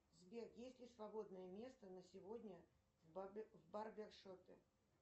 сбер есть ли свободное место на сегодня в барбершопе